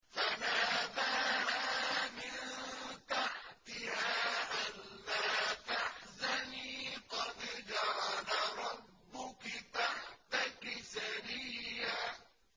فَنَادَاهَا مِن تَحْتِهَا أَلَّا تَحْزَنِي قَدْ جَعَلَ رَبُّكِ تَحْتَكِ سَرِيًّا